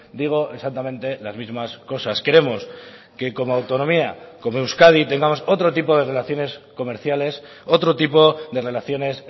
digo exactamente las mismas cosas queremos que como autonomía como euskadi tengamos otro tipo de relaciones comerciales otro tipo de relaciones